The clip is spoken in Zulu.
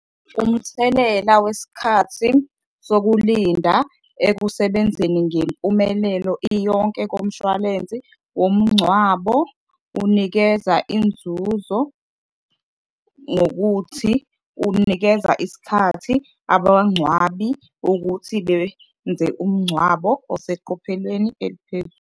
Umthelela wesikhathi sokulinda ekusebenzeni ngempumelelo iyonke komshwalensi womngcwabo unikeza inzuzo ngokuthi unikeza isikhathi abangcwabi ukuthi benze umngcwabo oseqophelelweni eliphezulu.